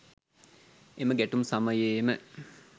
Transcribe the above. එම ගැටුම් සමයේම